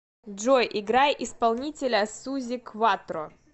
джой играй исполнителя сузи кватро